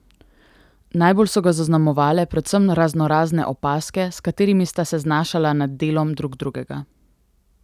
Najbolj so ga zaznamovale predvsem raznorazne opazke, s katerimi sta se znašala nad delom drug drugega.